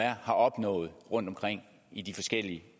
er har opnået rundtomkring i de forskellige